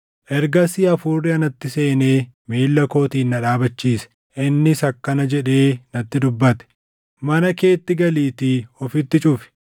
Ergasii Hafuurri anatti seenee miilla kootiin na dhaabachiise. Innis akkana jedhee natti dubbate: “Mana keetti galiitii ofitti cufi.